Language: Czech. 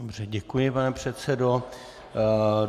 Dobře, děkuji pane předsedo.